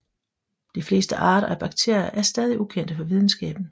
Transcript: De fleste arter af bakterier er stadig ukendte for videnskaben